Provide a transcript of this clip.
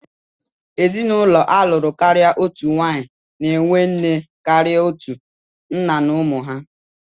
Ezinụlọ a lụrụ karịa otu nwaanyị na-enwe nne karịa otu, nna na ụmụ ha.